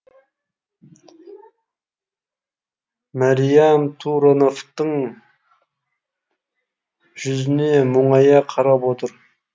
мәриям турановтың жүзіне мұңая қарап отыр